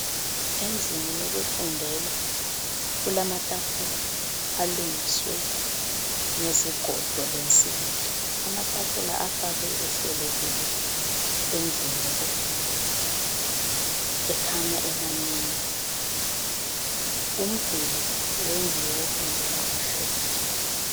Endlini yokufundela kulamatafula alungiswe ngezigodo lensimbi. Amatafula afakwe ehlelekile endlini yokufundela, ekhanya emanengi. Umduli wendlu yokufundela umhlophe.